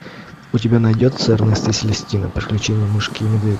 у тебя найдется эрнест и селестина приключение мышки и медведя